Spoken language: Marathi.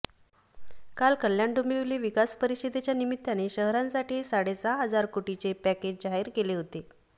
काल कल्याण डोंबिवली विकास परिषदेच्या निमित्ताने शहरांसाठी साडे सहा हजार कोटींचे पॅकेज जाहीर केले होते